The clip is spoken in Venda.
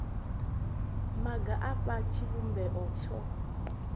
maga a fha tshivhumbeo tsho